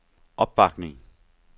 opbakning